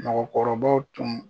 Mɔgɔkɔrɔbaw tun